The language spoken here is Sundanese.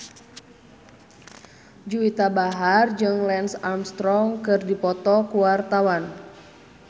Juwita Bahar jeung Lance Armstrong keur dipoto ku wartawan